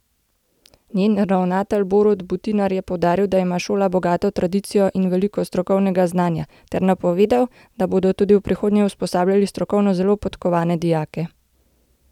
Njen ravnatelj Borut Butinar je poudaril, da ima šola bogato tradicijo in veliko strokovnega znanja, ter napovedal, da bodo tudi v prihodnje usposabljali strokovno zelo podkovane dijake.